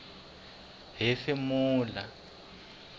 hefemulela